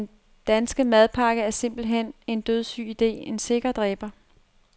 Den danske madpakke er simpelthen en dødsyg ide, en sikker dræber.